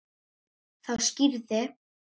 Þá skýrði